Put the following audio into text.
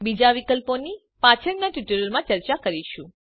બીજા વિકલ્પોની પાછળના ટ્યુટોરીયલોમાં ચર્ચા કરીશું